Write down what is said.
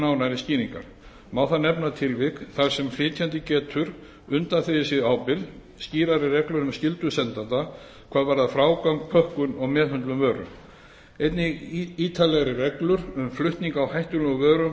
nánari skýringa má þar nefna tilvik þar sem flytjandi getur undanþegi sig ábyrgð skýrari reglur um skyldu sendanda hvað varðar frágang pökkun og meðhöndlun vöru einnig ítarlegri reglur um flutning á hættulegum vörum og